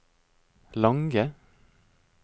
lange